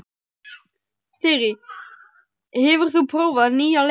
Þyri, hefur þú prófað nýja leikinn?